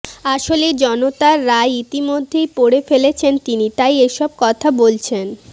আসলে জনতার রায় ইতিমধ্যেই পড়ে ফেলেছেন তিনি তাই এসব কথা বলছেন